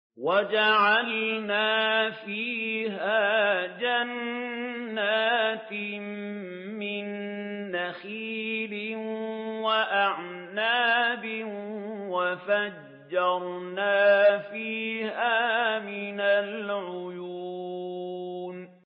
وَجَعَلْنَا فِيهَا جَنَّاتٍ مِّن نَّخِيلٍ وَأَعْنَابٍ وَفَجَّرْنَا فِيهَا مِنَ الْعُيُونِ